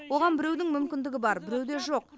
оған біреудің мүмкіндігі бар біреуде жоқ